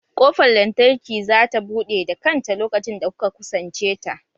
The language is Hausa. Ƙofar lantarki za ta buɗe da kanta lokacin da kuka kusance ta